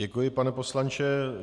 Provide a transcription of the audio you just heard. Děkuji, pane poslanče.